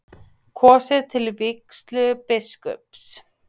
Kosið til vígslubiskups